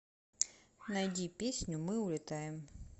найди песню мы улетаем